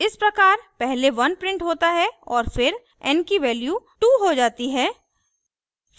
इस प्रकार पहले 1 printed होता है और फिर n की value 2 हो जाती है